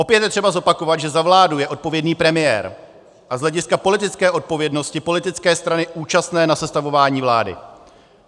Opět je třeba zopakovat, že za vládu je odpovědný premiér a z hlediska politické odpovědnosti politické strany účastné na sestavování vlády.